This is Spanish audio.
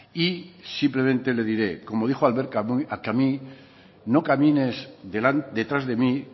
y simplemente le diré como dijo albert camus no camines detrás de mí